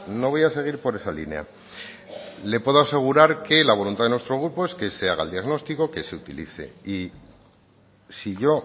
no voy a seguir por esa línea le puedo asegurar que la voluntad de nuestro grupo es que se haga el diagnóstico que se utilice y si yo